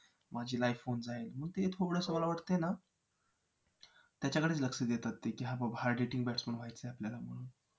माझी life होऊन जाईल म्हणून ते थोडंस मला वाटतंय ना त्याच्याकडेच लक्ष देतात ते की हां बाबा hard hitting batsman व्हायचं आहे आपल्याला म्हणून